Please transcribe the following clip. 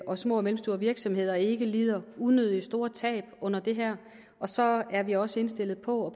og små og mellemstore virksomheder ikke lider unødigt store tab på det her og så er vi også indstillet på over